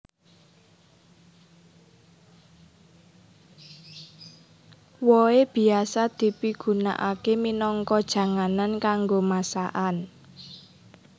Wohé biasa dipigunakaké minangka janganan kanggo masakan